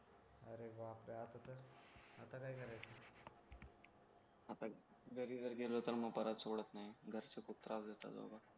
आता घरी जर गेलो तर मग परत सोडत नाही घरचे खूप त्रास देतात बाबा